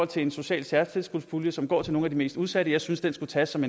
til en social særtilskudspulje som går til nogle af de mest udsatte jeg synes det skulle tages som